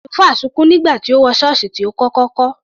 Àlùfáà sunkún nígbà tí ó wọ ṣọ́ọ̀ṣì tí ó kọ́kọ́ kọ́.